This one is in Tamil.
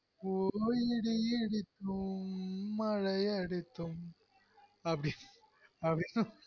ஒர் வெயில் அடித்தும் மழை அடித்தும் அப்டி அப்டினு ஹ்ஹ்